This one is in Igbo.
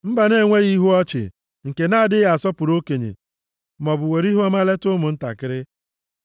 Mba na-enweghị ihu ọchị nke na-adịghị asọpụrụ okenye maọbụ were ihuọma leta ụmụntakịrị.